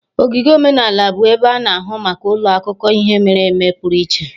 Ogige omenala bụ ebe a na-ahụ maka ụlọ akụkọ ihe mere eme pụrụ iche,